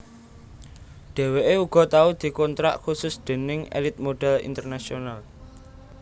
Dheweké uga tau dikontrak khusus déning Elite Model International